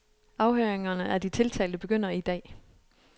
Afhøringerne af de tiltalte begynder i dag.